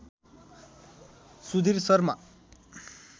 Sudhir Sharma